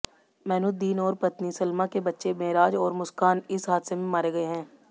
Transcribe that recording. मैनुद्दीन और पत्नी सलमा के बच्चे मेराज और मुस्कान इस हादसे में मारे गए हैं